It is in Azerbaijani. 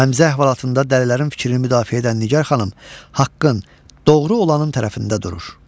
Həmzə əhvalatında dəlilərin fikrini müdafiə edən Nigar xanım haqqın, doğru olanın tərəfində durur.